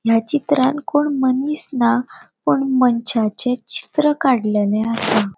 या चित्रांत कोण मनिस ना पुण मनशाचे चित्र काडलेले असा.